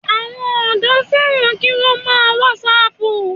Àwọn ọ̀dọ́ fẹ́ràn kí wọ́n má a wàsáàpù gan